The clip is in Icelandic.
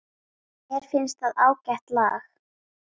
Mér finnst það ágætt lag.